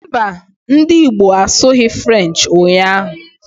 Mbà, ndị Igbo asughi Frenchi ụnyaahụ